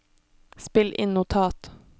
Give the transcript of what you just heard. spill inn notat